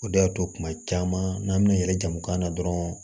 O de y'a to kuma caman n'an bɛna yɛlɛ jamu kan na dɔrɔn